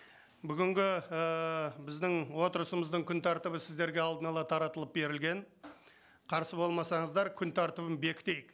бүгінгі ііі біздің отырысымыздың күн тәртібі сіздерге алдын ала таратылып берілген қарсы болмасаңыздар күн тәртібін бекітейік